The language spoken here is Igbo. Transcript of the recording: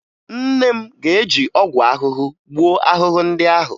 Nne m ga-eji ọgwụ ahụhụ gbuo ahụhụ ndị ahụ